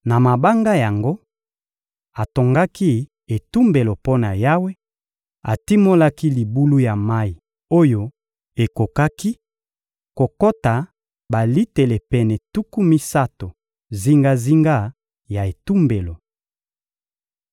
Na mabanga yango, atongaki etumbelo mpo na Yawe; atimolaki libulu ya mayi oyo ekokaki kokota balitele pene tuku misato zingazinga ya etumbelo.